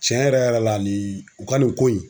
Cɛn yɛrɛ yɛrɛ la ni u ka nin ko in